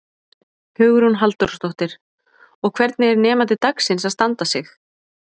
Hugrún Halldórsdóttir: Og hvernig er nemandi dagsins að standa sig?